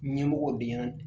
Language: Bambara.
Ɲɛmɔgɔw de ɲɛna